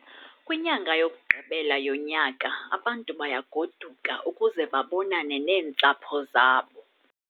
Kwinyanga yokugqibela yonyaka abantu bayagoduka ukuze babonane neentsapho zabo.